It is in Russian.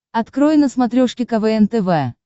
открой на смотрешке квн тв